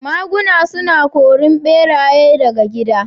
Maguna suna korin ɓeraye daga gida